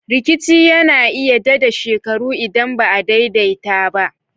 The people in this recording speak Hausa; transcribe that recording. Rikici na iya dade shekaru idan ba'a daidaita ba.